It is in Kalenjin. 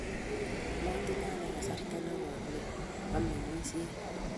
motinye ane kasarta nekooi neomeng'isiei